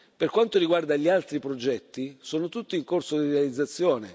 Per quanto riguarda gli altri progetti, sono tutti in corso di realizzazione.